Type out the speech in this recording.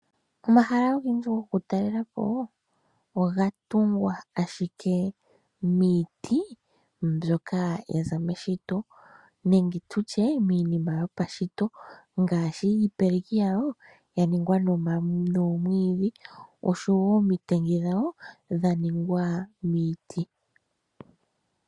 Omahala ogendji gokutalela po oga tungwa ashike miiti mbyoka ya za meshito nenge tu tye miinima yopashito ngaashi iipeleki yayo ya ningwa noomwiidhi osho woo omitengi dhayo dha ningwa miiti.